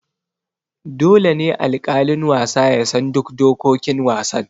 Dole ne alƙalin wasa ya san duk dokokin wasan.